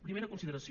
primera consideració